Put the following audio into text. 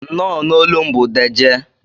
Nnọ na olum bu dejee.